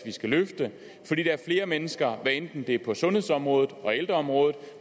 vi skal løfte fordi der er flere mennesker hvad enten det er på sundhedsområdet og ældreområdet